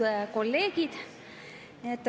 Lugupeetud kolleegid!